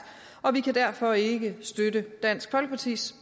og vi kan derfor ikke støtte dansk folkepartis